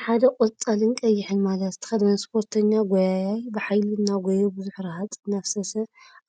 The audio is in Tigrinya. ሓደ ቆፃልን ቀይሕን ማልያ ዝተከደነ ስፖርተኛ ጎያያይ ብሓይሊ እናጎየየ ቡዙሕ ረሃፅ እናፈሰሰ